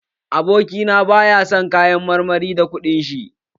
Abokina ba ya sayan kayan marmari da kuɗin shi.